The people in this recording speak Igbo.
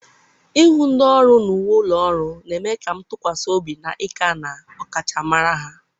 ịhụ ndị ọrụ na uwe ụlọ ọrụ na-eme ka m tụkwasị obi na ika na ọkachamara ya.